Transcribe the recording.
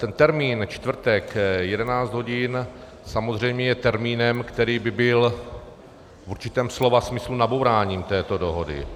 Ten termín čtvrtek 11 hodin samozřejmě je termínem, který by byl v určitém slova smyslu nabouráním této dohody.